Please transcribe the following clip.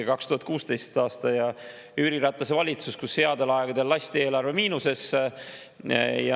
2016. aastal lasi Jüri Ratase valitsus headel aegadel eelarve miinusesse.